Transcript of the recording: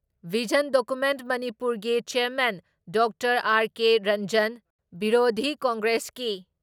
Vision document ꯃꯅꯤꯄꯨꯔꯒꯤ chairman doctor R K. Ranjan, ꯕꯤꯔꯣꯙꯤ ꯀꯪꯒ꯭ꯔꯦꯁꯀꯤ